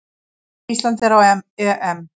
Ísland er á EM!